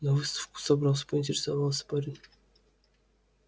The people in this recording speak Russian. на выставку собрался поинтересовался парень